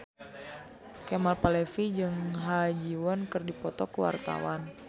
Kemal Palevi jeung Ha Ji Won keur dipoto ku wartawan